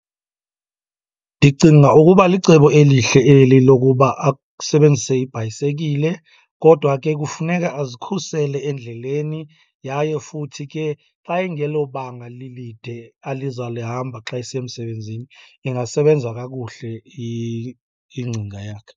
Ndicinga ukuba licebo elihle eli lokuba asebenzise ibhayisekile kodwa ke kufuneka azikhusele endleleni. Yaye futhi ke xa ingelobanga lilide azawulihamba xa esiya emsebenzini, ingasebenza kakuhle ingcinga yakhe.